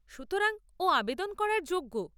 সুতরাং, ও আবেদন করার যোগ্য।